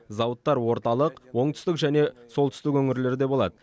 зауыттар орталық оңтүстік және солтүстік өңірлерде болады